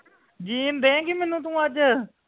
ਜੀਣ ਦੇਗੀ ਮੈਨੂੰ ਤੂੰ ਅੱਜ